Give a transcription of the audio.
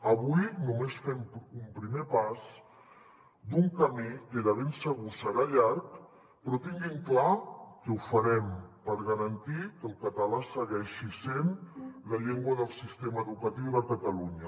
avui només fem un primer pas d’un camí que de ben segur serà llarg però tinguin clar que ho farem per garantir que el català segueixi sent la llengua del sistema educatiu de catalunya